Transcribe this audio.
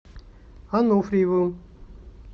ануфриевым